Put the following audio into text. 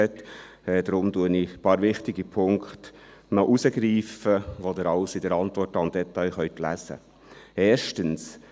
Deshalb greife ich noch ein paar wichtige Punkte heraus, welche Sie detailliert in der Antwort lesen können.